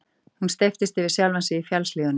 Hún steyptist yfir sjálfa sig í fjallshlíðunum.